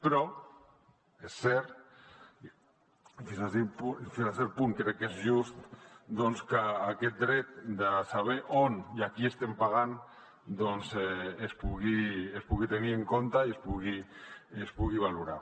però és cert i fins a cert punt crec que és just doncs que aquest dret de saber on i a qui estem pagant es pugui tenir en compte i es pugui valorar